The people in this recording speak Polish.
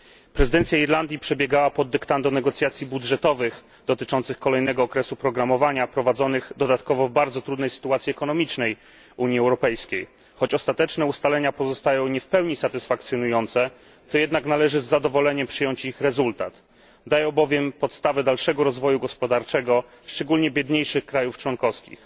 Prezydencja Irlandii przebiegała pod dyktando negocjacji budżetowych dotyczących kolejnego okresu programowania, prowadzonych dodatkowo w bardzo trudnej sytuacji ekonomicznej Unii Europejskiej. Choć ostateczne ustalenia pozostają nie w pełni satysfakcjonujące, to jednak należy z zadowoleniem przyjąć ich rezultat, dają bowiem podstawę dalszego rozwoju gospodarczego, szczególnie biedniejszych krajów członkowskich.